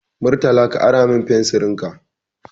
Murtala ka ara ma fensirin ka.